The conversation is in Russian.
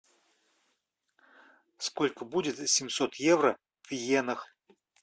сколько будет семьсот евро в йенах